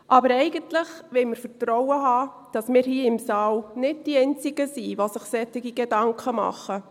Aber eigentlich wollen wir Vertrauen haben, dass wir hier im Saal nicht die einzigen sind, die sich solche Gedanken machen.